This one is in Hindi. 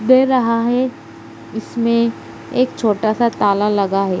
दे रहा है इसमें एक छोटा सा ताला लगा है।